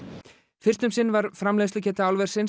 fyrst um sinn var framleiðslugeta álversins